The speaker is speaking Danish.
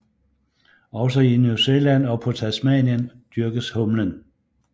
Også i New Zealand og på Tasmanien dyrkes humlen